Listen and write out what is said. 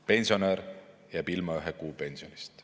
Pensionär jääb ilma ühe kuu pensionist.